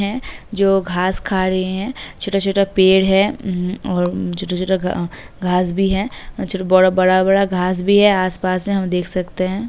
हैं जो घास खा रहे हैं। छोटा-छोटा पेड़ है। म् और म् छोटा-छोटा घ-अं घास भी है । छ बड़ा-बड़ा घे भी है आस-पास में हम देख सकते हैं।